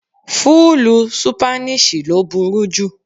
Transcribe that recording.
Fúlúù Sípáníṣì ló burú jù.